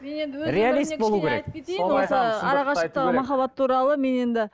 арақашықтықтағы махаббат туралы мен енді